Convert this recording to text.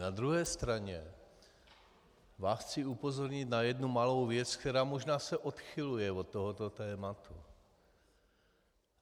Na druhé straně vás chci upozornit na jednu malou věc, která se možná odchyluje od tohoto tématu.